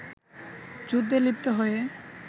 যুদ্ধে লিপ্ত হয়ে